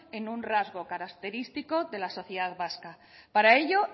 en un rasgo característico de la sociedad vasca para ello